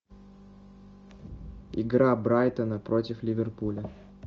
игра брайтона против ливерпуля